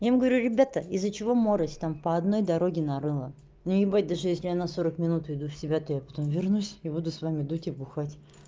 я им говорю ребята из-за чего морось там по одной дороге на рыло но ебать даже если она сорок минут приду в себя то я потом вернусь и буду с вами дуть и бухать